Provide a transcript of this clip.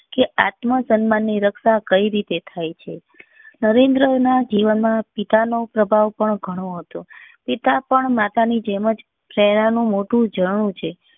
કે આત્મસન્માન ની રક્ષા કઈ રીતે થાય છે નરેન્દ્ર ના જીવન માં પિતા નો પ્રભાવ પણ ગણો હતો પિતા પણ માતા ની જેમ જ પ્રેરણા નું મોટું ઝરણું છે